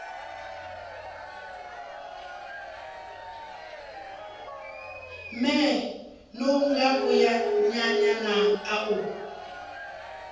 mee ṅo ngavhuyanyana u a